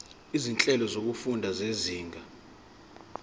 izinhlelo zokufunda zezinga